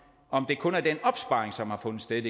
om det kun går ud over den opsparing som har fundet sted